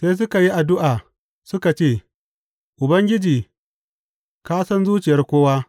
Sai suka yi addu’a suka ce, Ubangiji, ka san zuciyar kowa.